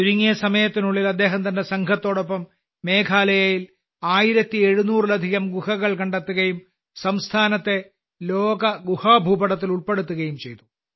ചുരുങ്ങിയ സമയത്തിനുള്ളിൽ അദ്ദേഹം തന്റെ സംഘത്തോടൊപ്പം മേഘാലയയിൽ 1700 ലധികം ഗുഹകൾ കണ്ടെത്തുകയും സംസ്ഥാനത്തെ ലോകഗുഹഭൂപടത്തിൽ ഉൾപ്പെടുത്തുകയും ചെയ്തു